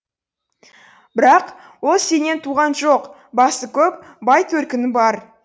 бірақ ол сенен туған жоқ басы көп бай төркіні бар